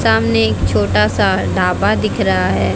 सामने एक छोटा सा ढाबा दिख रहा है।